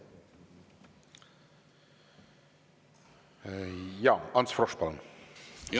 Ants Frosch, palun!